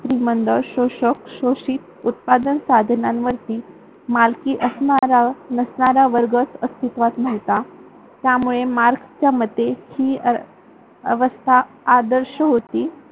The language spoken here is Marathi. श्रीमंत, शोषक, शोषित उत्पादन साधनांवरती मालकी असणारा, नसणारा वर्गच अस्तित्वात नव्हता. त्यामुळे मार्क्सच्या मध्ये ही अवस्था आदर्श होती.